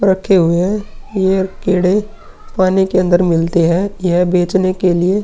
रखे हुए हैं। ये केड़े पानी के अंदर मिलते हैं। यह बेचने के लिए --